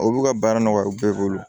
O b'u ka baara nɔgɔya u bɛɛ bolo